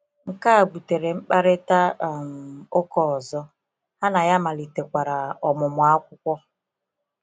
Nke a butere mkparịta um ụka ọzọ, ha na ya malitekwara ọmụmụ akwụkwọ.